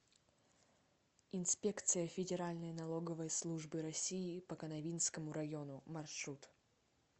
инспекция федеральной налоговой службы россии по канавинскому району маршрут